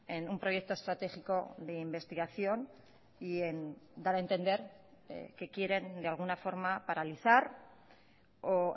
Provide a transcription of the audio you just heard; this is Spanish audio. en un proyecto estratégico de investigación y en dar a entender que quieren de alguna forma paralizar o